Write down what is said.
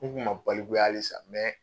N k'u ma balikuya hali san